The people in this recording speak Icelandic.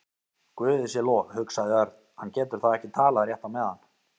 Guði sé lof, hugsaði Örn, hann getur þá ekki talað rétt á meðan.